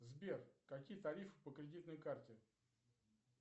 сбер какие тарифы по кредитной карте